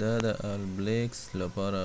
دا د all blacks لپاره